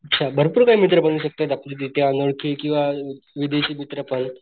भरपूर काही मित्र बनु शकतात आपले तिथे अनोळखी किंवा विदेशी मित्र पण,